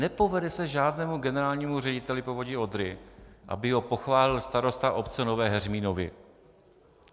Nepovede se žádnému generálnímu řediteli Povodí Odry, aby ho pochválil starosta obce Nové Heřminovy.